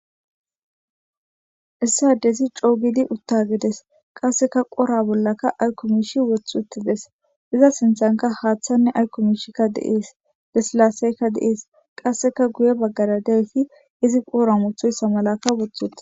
Issi addezi coogidi utta gides qasseka qora bollaka aykkumishi wothuttides iza sinthanka haaththanne aykkumishikka deees desilaaseyka deees qasseka guye baggara deysi izi qoora muthoyssa malaka wothuti.